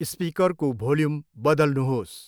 स्पिकरको volume बदल्नुहोस्।